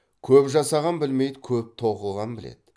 көп жасаған білмейді көп тоқыған біледі